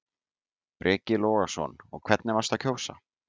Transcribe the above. Breki Logason: Og hvernig varstu að kjósa?